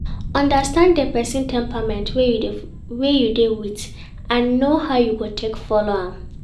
understand di persin temperament wey you de with and know how you go take follow am